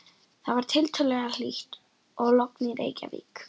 Það var tiltölulega hlýtt og logn í Reykjavík.